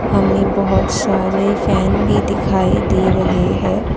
हमें बहुत सारे फैन भी दिखाई दे रहे है।